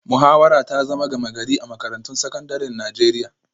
Muhawara ta zama gama-gari a makarantun sakandaren Najeriya